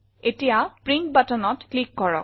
এতিয়া প্ৰিণ্ট buttonত ক্লিক কৰক